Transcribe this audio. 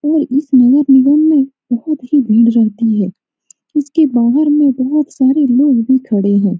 और इस नगर निगम में बहुत ही भीड़ रहती है इसके बहार में बहुत सारे लोग भी खड़े हैं ।